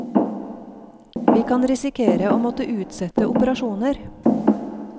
Vi kan risikere å måtte utsette operasjoner.